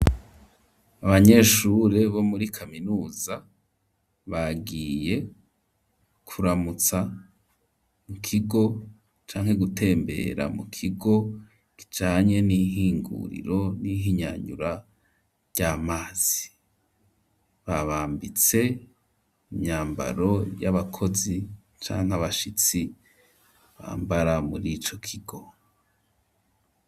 Abanyeshure bo muri kaminuza, bagiye kuramutsa mu kigo, canke gutembera mu kigo kijanye n'ihinguriro n'ihinyanyura ry'amazi; babambitse imyambaro y'abakozi, canke abashitsi bambara muri ico kigo.